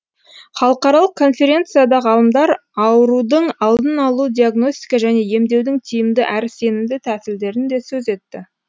халықаралық конференцияда ғалымдар аурудың алдын алу диагностика және емдеудің тиімді әрі сенімді тәсілдерін да сөз етті